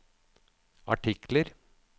artikler